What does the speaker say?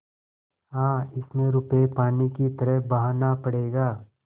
हाँ इसमें रुपये पानी की तरह बहाना पड़ेगा